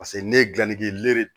Paseke ne ye gilanni kɛ len